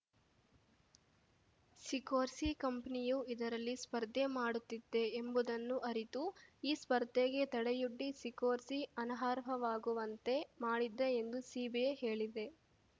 Sikorsky ಕಂಪನಿಯು ಇದರಲ್ಲಿ ಸ್ಪರ್ಧೆ ಮಾಡುತ್ತಿದೆ ಎಂಬುದನ್ನು ಅರಿತು ಈ ಸ್ಪರ್ಧೆಗೆ ತಡೆಯೊಡ್ಡಿ ಸಿಕೋರ್ಸಿ ಅನರ್ಹವಾಗುವಂತೆ ಮಾಡಿದ್ದ ಎಂದು ಸಿಬಿಐ ಹೇಳಿದೆ